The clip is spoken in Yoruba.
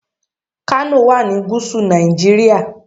Kano wà ní gúúsù Nàìjíríà.